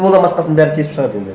одан басқасының бәрін бесіп шығады енді